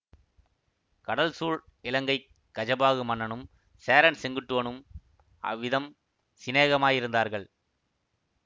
கடல் சூழ் இலங்கை கஜபாகு மன்னனும் சேரன் செங்குட்டுவனும் அவ்விதம் சிநேகமாயிருந்தார்கள்